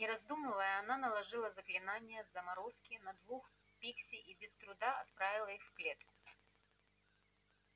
не раздумывая она наложила заклинание заморозки на двух пикси и без труда отправила их в клетку